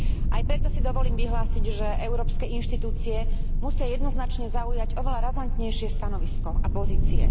Aj preto si dovolím vyhlásiť, že európske inštitúcie musia jednoznačne zaujať oveľa razantnejšie stanovisko a pozície.